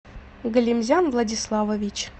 галимзян владиславович